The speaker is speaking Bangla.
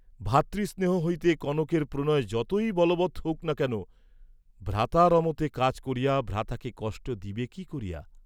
ভ্রাতৃস্নেহ হইতে কনকের প্রণয় যতই বলবৎ হউক না, ভ্রাতার অমতে কাজ করিয়া ভ্রাতাকে কষ্ট দিবে কি করিয়া?